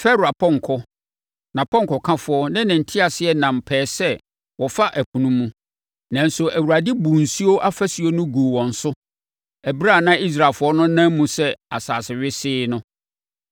Farao apɔnkɔ, nʼapɔnkɔkafoɔ ne ne nteaseɛnam pɛɛ sɛ wɔfa ɛpo no mu; nanso, Awurade buu nsuo afasuo no guu wɔn so ɛberɛ a na Israelfoɔ no nam mu sɛ asase wesee no.